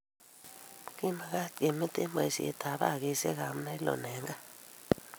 Kimakat kemete baisiet ab bagisiek abnailon eng kaa.